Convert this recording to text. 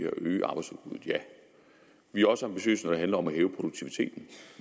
at øge arbejdsudbuddet ja vi er også ambitiøse når det handler om at hæve produktiviteten